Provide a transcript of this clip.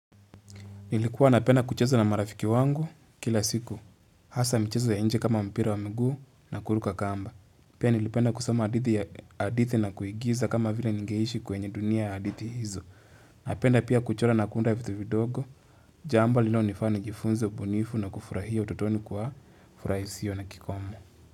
Nilikuwa napenda kuchezo na marafiki wangu kila siku. Hasa michezo ya nje kama mpira wa mguu na kuruka kamba. Pia nilipenda kusama hadithi na kuigiza kama vile ningeishi kwenye dunia ya hadithi hizo. Napenda pia kuchora na kunda ya vitu vidogo. Jambo linalo nifanya jifunze ubunifu na kufurahia ututoni kwa furaha isio na kikomo.